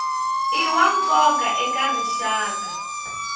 i wa nkoka eka rixaka